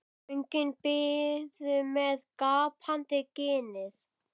Göngin biðu með gapandi ginið.